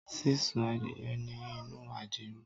Sisun adiye ni inu adiro